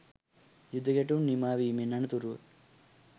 යුද ගැටුම් නිමාවීමෙන් අනතුරුව